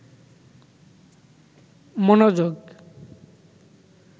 মনোযোগ